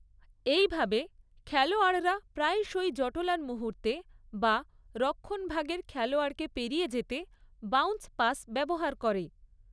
এইভাবে খেলোয়াড়রা প্রায়শই জটলার মুহূর্তে বা রক্ষণভাগের খেলোয়াড়কে পেরিয়ে যেতে, বাউন্স পাস ব্যবহার করে।